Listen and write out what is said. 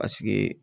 Paseke